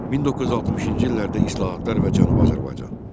1960-cı illərdə islahatlar və Cənubi Azərbaycan.